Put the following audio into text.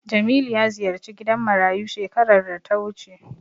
Jamilu ya ziyarci gidan marayu shekarar da ta wuce.